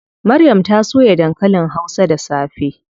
Maryam ta soya dankalin hausa da safe.